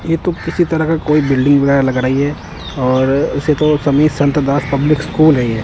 ये तो किसी तरह का कोई बिल्डिंग वगैरा लग रही है और उसे तो समीर संत दास पब्लिक स्कूल है।